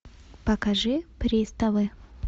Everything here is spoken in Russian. покажи приставы